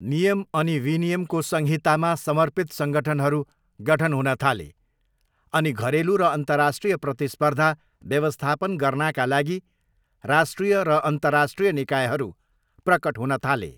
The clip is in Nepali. नियम अनि विनियमको संहितामा समर्पित सङ्गठनहरू गठन हुन थाले, अनि घरेलु र अन्तर्राष्ट्रिय प्रतिस्पर्धा व्यवस्थापन गर्नाका लागि राष्ट्रिय र अन्तर्राष्ट्रिय निकायहरू प्रकट हुन थाले।